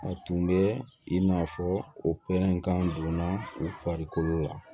A tun bɛ i n'a fɔ o pɛrɛnkan donna u farikolo la